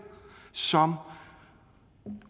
som